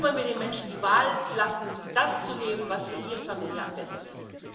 Und dann wollen wir den Menschen die Wahl lassen, das zu nehmen, was für ihre Familie am besten ist.